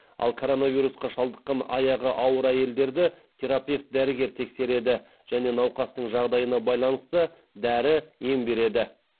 ал коронавирусқа шалдыққан аяғы ауыр әйелдерді терапевт дәрігер тексереді және науқастың жағдайына байланысты дәрі ем береді